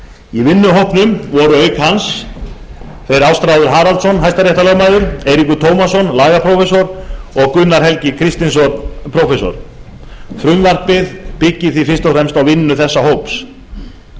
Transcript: í vinnuhópnum voru auk hans ástráður haraldsson hæstaréttarlögmaður eiríkur tómasson prófessor og gunnar helgi kristinsson prófessor frumvarpið er byggt á vinnu þessa hóps